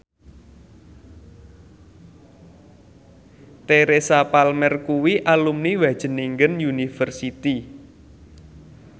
Teresa Palmer kuwi alumni Wageningen University